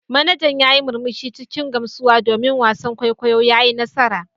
Manajan ya yi murmushi cikin gamsuwa domin wasan kwaikwayo ya yi nasara.